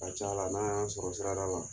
A ka c'la n'a y'an sɔrɔ sirada la